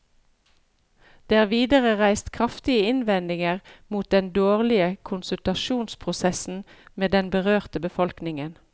Det er videre reist kraftige innvendinger mot den dårlige konsultasjonsprosessen med den berørte befolkningen.